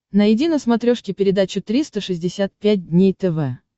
найди на смотрешке передачу триста шестьдесят пять дней тв